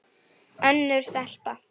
Önnur stelpa?